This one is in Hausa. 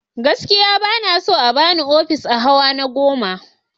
Gaskiya ba na so a ba ni ofis a hawa na goma.